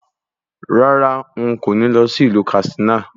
Rárá, n kò ní lọ sí ìlú Kàtsínà